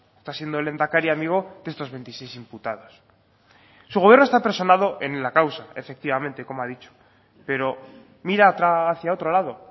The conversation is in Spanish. esta siendo el lehendakari amigo de estos veintiséis imputados su gobierno está personado en la causa efectivamente como ha dicho pero mira hacia otro lado